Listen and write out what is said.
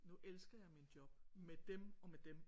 Nu elsker jeg min job med dem og med dem